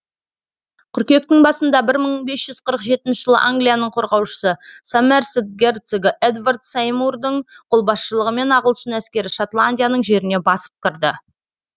қыркүйектің басында бір мың бес жүз қырық жетінші жылы англияның қорғаушысы сомерсет герцогы эдвард сеймурдың қолбасшылығымен ағылшын әскері шотландияның жеріне басып кірді